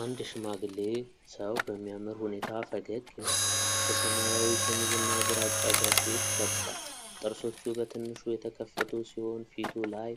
አንድ ሽማግሌ ሰው በሚያምር ሁኔታ ፈገግ ይላል። በሰማያዊ ሸሚዝና ግራጫ ጃኬት ለብሷል። ጥርሶቹ በትንሹ የተከፈቱ ሲሆን፣ ፊቱ ላይ